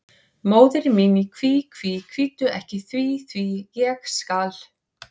Móðir mín í kví, kví, kvíddu ekki því, því, ég skal.